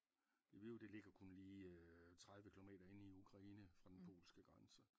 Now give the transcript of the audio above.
Lviv det ligger kun lige 30 kilometer inde i Ukraine fra den polske grænse